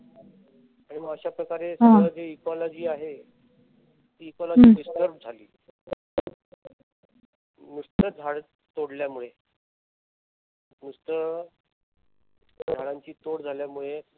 आणि मग अशाप्रकारे जी ecology आहे. ती ecology disturb झाली. नुसत झाड तोडल्यामुळे नुसत झाडांची तोड झाल्यामुळे